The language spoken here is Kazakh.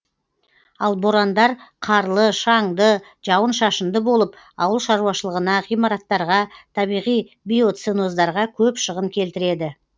ал борандар қарлы шаңды жауын шашынды болып ауыл шаруашылығына ғимараттарға табиғи биоценоздарға көп шығын келтіреді